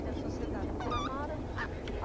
Que é a sociedade do Vila Mara.